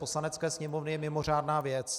Poslanecké sněmovny je mimořádná věc.